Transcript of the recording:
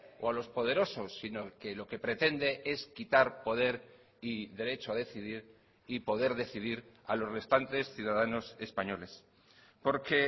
o a los poderosos sino que lo que pretende es quitar poder y derecho a decidir y poder decidir a los restantes ciudadanos españoles porque